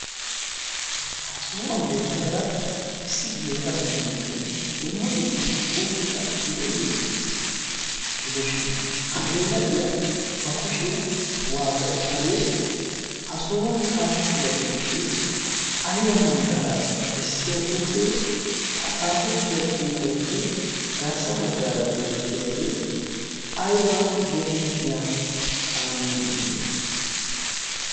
ha sohuwan beettiyaara issi geela'o nayyoonne dumma dumman xuufeta gidiyoogee erettees. gidoshin ha geela'iyaa ba kushiyaa waata uttadee? ha sohuwan xaafettida xuufee aiba manddaraa bessiya xuufee ha xaafettida xuufiyaappe garssa baggaara beettiyaagee aiba geetettiya kaamiyaa misilee?